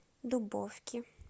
дубовки